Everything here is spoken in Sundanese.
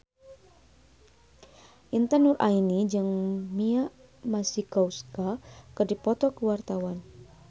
Intan Nuraini jeung Mia Masikowska keur dipoto ku wartawan